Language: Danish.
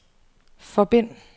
forbind